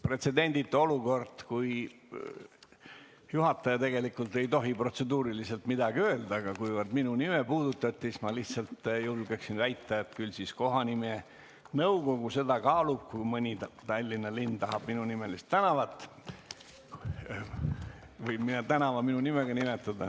Pretsedenditu olukord, sest juhataja tegelikult ei tohi protseduuriliselt midagi öelda, aga kuivõrd minu nime puudutati, siis ma lihtsalt julgeksin väita, et küll siis kohanimenõukogu seda kaalub, kui Tallinna linn tahab minunimelist tänavat või soovib mingi tänava minu nimega nimetada.